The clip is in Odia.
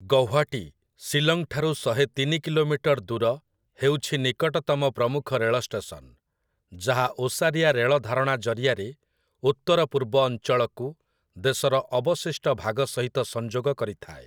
ଗୌହାଟୀ, ଶିଲଂଠାରୁ ଶହେତିନି କିଲୋମିଟର୍ ଦୂର, ହେଉଛି ନିକଟତମ ପ୍ରମୁଖ ରେଳ ଷ୍ଟେସନ, ଯାହା ଓସାରିଆ ରେଳ ଧାରଣା ଜରିଆରେ ଉତ୍ତରପୂର୍ବ ଅଞ୍ଚଳକୁ ଦେଶର ଅବଶିଷ୍ଟ ଭାଗ ସହିତ ସଂଯୋଗ କରିଥାଏ ।